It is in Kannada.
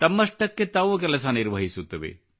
ತಮ್ಮಷ್ಟಕ್ಕೆ ತಾವು ಕೆಲಸ ನಿರ್ವಹಿಸುತ್ತವೆ